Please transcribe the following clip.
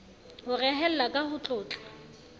ho rehella ka ho tlotla